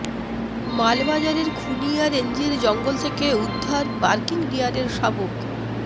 মালবাজারের খুনিয়া রেঞ্জের জঙ্গল থেকে উদ্ধার বার্কিং ডিয়ারের শাবক